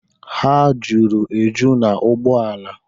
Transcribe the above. Ha juru eju na ụgbọala.